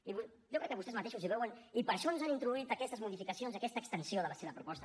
i jo crec que vostès mateixos ho veuen i per això ens han introduït aquestes modificacions i aquesta extensió de la seva proposta